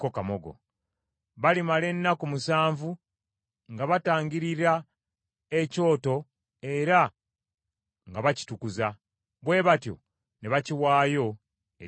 Balimala ennaku musanvu nga batangirira ekyoto era nga bakitukuza; bwe batyo ne bakiwaayo eri Katonda.